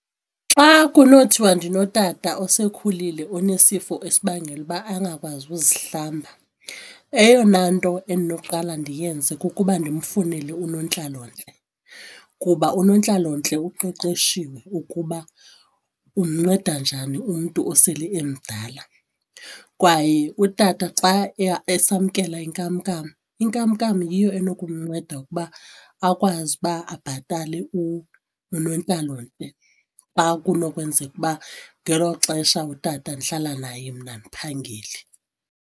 Xa kunothiwa ndinotata osekhulile onesifo esibangela ukuba angakwazi ukuzihlamba eyona nto endinoqala ndiyenze kukuba ndimfunele unontlalontle kuba unontlalontle uqeqeshiwe ukuba umnceda njani umntu osele emdala. Kwaye utata xa esamkela inkamnkam, inkamnkam yiyo enokumnceda ukuba akwazi uba abhatale unontlalontle xa kunokwenzeka ukuba ngelo xesha utata ndihlala naye mna andiphangeli.